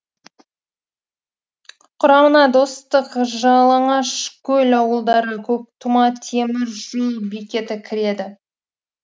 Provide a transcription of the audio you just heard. құрамына достық жалаңашкөл ауылдары көктұма темір жол бекеті кіреді